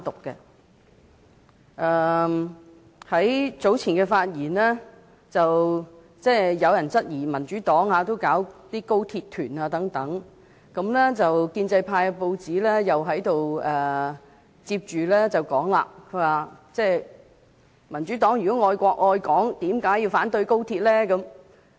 在較早前的發言中，有人質疑民主黨也舉辦高鐵團，而親建制派的報章也說，如果民主黨愛國愛港，為何要反對高鐵呢？